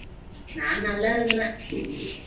நான் நல்லா இருக்கிறேன்